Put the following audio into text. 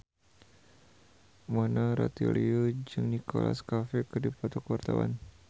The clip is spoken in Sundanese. Mona Ratuliu jeung Nicholas Cafe keur dipoto ku wartawan